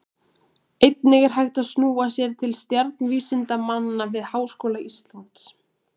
Einnig er hægt að snúa sér til stjarnvísindamanna við Háskóla Íslands.